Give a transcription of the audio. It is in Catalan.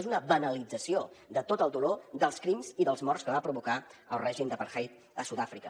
és una banalització de tot el dolor dels crims i dels morts que va provocar el règim d’apartheid a sud àfrica